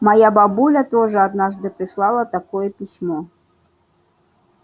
моя бабуля тоже однажды прислала такое письмо